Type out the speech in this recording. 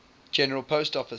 general post office